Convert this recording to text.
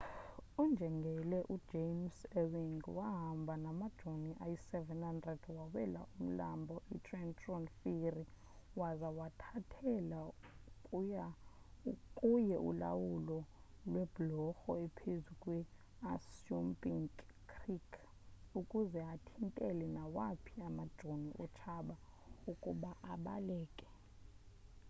unjengele james ewing wahamba namajoni ayi-700 wawela umlambo e-trenton ferry waza wathathela kuye ulawulo lweblorho ephezu kwe-assunpink creek ukuze athintele nawaphi amajoni otshaba ukuba abaleke